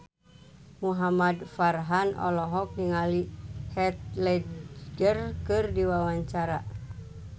Muhamad Farhan olohok ningali Heath Ledger keur diwawancara